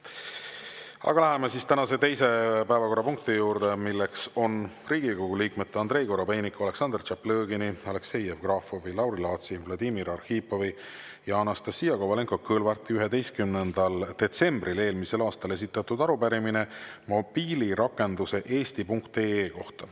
Aga läheme tänase teise päevakorrapunkti juurde, mis on Riigikogu liikmete Andrei Korobeiniku, Aleksandr Tšaplõgini, Aleksei Jevgrafovi, Lauri Laatsi, Vladimir Arhipovi ja Anastassia Kovalenko-Kõlvarti 11. detsembril eelmisel aastal esitatud arupärimine mobiilirakenduse eesti.ee kohta.